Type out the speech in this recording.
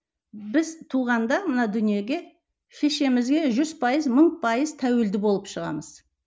біз туғанда мына дүниеге шешемізге жүз пайыз мың пайыз тәуілді болып шығамыз